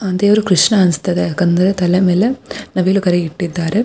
ಆ ದೇವರು ಕೃಷ್ಣ ಅನ್ಸುತಾ ಇದೆ ಯಾಕಂದ್ರೆ ತಲೆ ಮೇಲೆ ನವಿಲು ಗರಿ ಇಟ್ಟಿದ್ದಾರೆ.